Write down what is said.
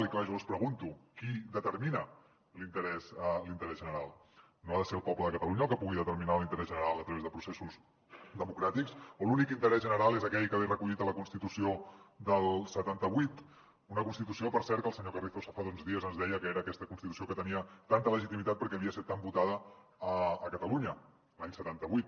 i clar jo els pregunto qui determina l’interès general no ha de ser el poble de catalunya el que pugui determinar l’interès general a través de processos democràtics o l’únic interès general és aquell que ve recollit a la constitució del setanta vuit una constitució per cert que el senyor carrizosa fa uns dies ens deia que era aquesta constitució que tenia tanta legitimitat perquè havia estat tan votada a catalunya l’any setanta vuit